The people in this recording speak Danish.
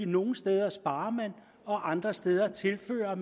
nogle steder sparer og andre steder tilfører